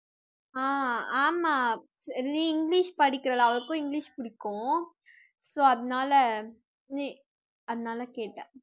ஆஹ் ஆமா நீ இங்கிலிஷ் படிக்கிற அவளுக்குக்கும் இங்கிலிஷ் பிடிக்கும் so அதனால நீ அதனால கேட்டேன்